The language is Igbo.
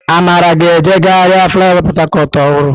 Amara ga-eje gharị flaịọvá Port Harcourt ọhụrụ.